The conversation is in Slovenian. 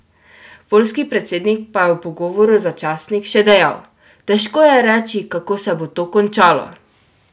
Poljski predsednik pa je v pogovoru za časnik še dejal: "Težko je reči, kako se bo to končalo.